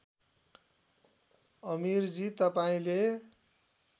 अमिरजी तपाईँले